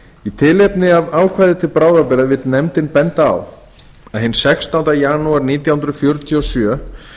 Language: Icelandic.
í tilefni af ákvæði til bráðabirgða vill nefndin benda á að hinn sextánda júní nítján hundruð fjörutíu og sjö